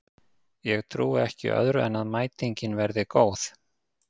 Ég trúi ekki öðru en að mætingin verði góð.